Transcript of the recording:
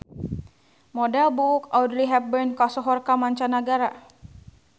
Model buuk Audrey Hepburn kasohor ka manca nagara